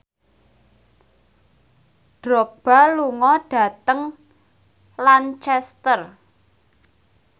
Drogba lunga dhateng Lancaster